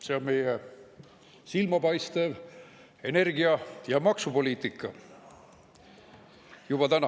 " See on meie silmapaistev energia‑ ja maksupoliitika juba täna.